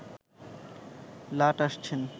লাট আসছেন